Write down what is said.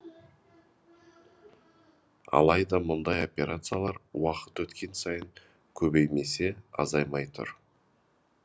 алайда мұндай операциялар уақыт өткен сайын көбеймесе азаймай тұр